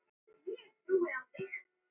Bréfin hættu að berast.